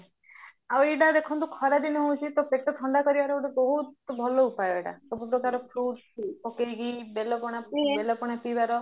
ଆଉ ଏଇଟା ଦେଖନ୍ତୁ ଖରା ଦିନ ହଉଚି ତ ପେଟ ଥଣ୍ଡା କରିବାର ଗୋଟେ ବହୁତ ଭଲ ଉପାୟ ଏଇଟା ସବୁ ପ୍ରକାର fruits ପକେଇକି ବେଲ ପଣା ପିଇବାର